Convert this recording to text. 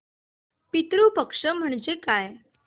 पितृ पक्ष म्हणजे काय